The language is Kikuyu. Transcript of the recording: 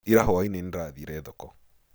Ira hwainĩ nĩndĩrathire thoko.